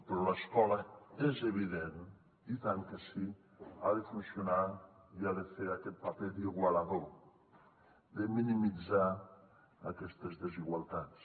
però l’escola és evident i tant que sí ha de funcionar i ha de fer aquest paper d’igualador de minimitzar aquestes desigualtats